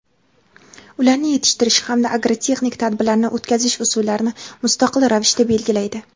ularni yetishtirish hamda agrotexnik tadbirlarni o‘tkazish usullarini mustaqil ravishda belgilaydi.